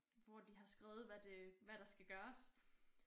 Hvor de har skrevet hvad det hvad der skal gøres